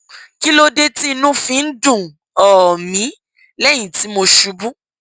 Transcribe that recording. kí ló dé tí inú fi ń dùn um mí lẹyìn tí mo ṣubú